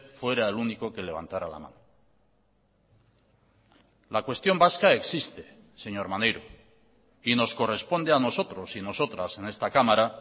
fuera el único que levantará la mano la cuestión vasca existe señor maneiro y nos corresponde a nosotros y nosotras en esta cámara